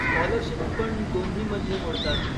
Scholarships पण दोन्हीमध्ये मोडतात.